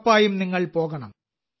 ഉറപ്പായും നിങ്ങൾ പോകണം